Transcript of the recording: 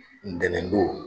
N tɛnɛ don.